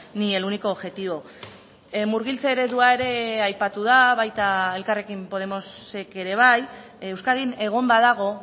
ni el único objetivo murgiltze eredua ere aipatu da baita elkarrekin podemosek ere bai euskadin egon badago